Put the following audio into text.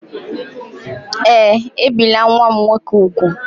Ee, ebìla nwa m nwoke úgwù.